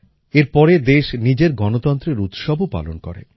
এর পরে দেশ নিজের গণতন্ত্রের উৎসবও পালন করে